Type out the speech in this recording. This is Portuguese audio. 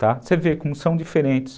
Tá. Você vê como são diferentes.